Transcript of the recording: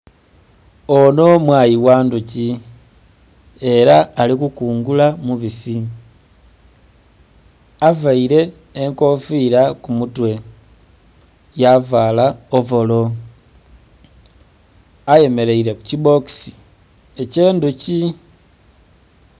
Ono mwayi ghandhuki era ali kukungula mubisi avaire enkofira kumutwe, yavala ovolo ayemeraire kukibbokisi eky'endhuki.